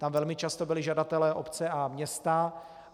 Tam velmi často byli žadateli obce a města.